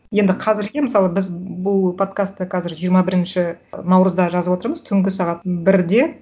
енді қазірге мысалы біз бұл подкастты қазір жиырма бірінші наурызда жазып отырмыз түнгі сағат бірде